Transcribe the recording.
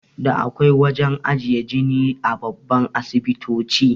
Da akwai wajan ajiye jini a babban asibitoti